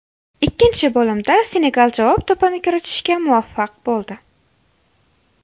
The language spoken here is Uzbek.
Ikkinchi bo‘limda Senegal javob to‘pini kiritishga muvaffaq bo‘ldi.